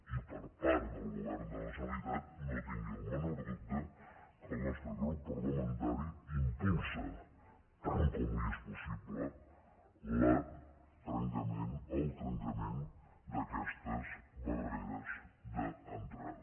i part del govern de la generalitat no tingui el menor dubte que el nostre grup parlamentari impulsa tant com li és possible el trenca·ment d’aquestes barreres d’entrada